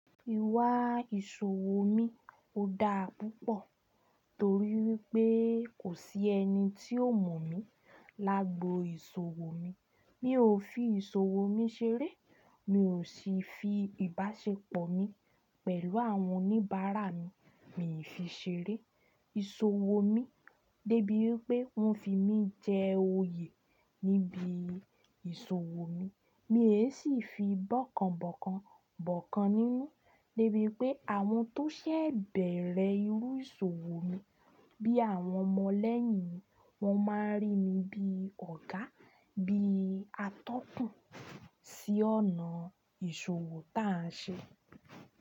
Ìwà ìṣòwò mi ò dáa púpọ̀ torí wípé kò sí ẹni tí ó mọ̀ mí lágbò ìṣòwò mi. Mi ò fi ìṣòwò mi ṣeré. Mi ò sì fi ìbáṣepọ̀ mi pẹ̀lú àwọn oníbàárà mi mì fi ṣeré. Ìṣòwò mi dé bí wípé wón fi mí jẹ oyè níbi ìṣòwò mi. Mi è sì fi bọ́kànbọ́kàn bọ́kàn nínú níbi pé àwọn tó ṣẹ̀ bẹ̀rẹ̀ irú ìṣòwò mi bí àwọn ọmọ lẹ́yìn mi, wọ́n máa rí mi bí Ọ̀gá, bí atọ́kùn sí ọ̀nà ìṣòwò táà ń ṣe.